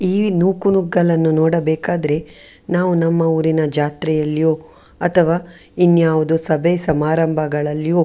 ಈ ನೂಕುನುಗ್ಗಲನ್ನು ನೋಡಬೇಕಾದ್ರೆ ನಾವು ನಮ್ಮ ಊರಿನ ಜಾತ್ರೆಯಲ್ಲಿಯೋ ಅಥವಾ ಇನ್ಯಾವುದೋ ಸಭೆ ಸಮಾರಂಭಗಳಲ್ಲಿಯೋ --